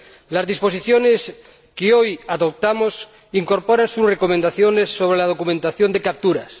Las disposiciones que hoy adoptamos incorporan sus recomendaciones sobre la documentación de capturas.